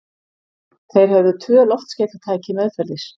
Þeir höfðu tvö loftskeytatæki meðferðis.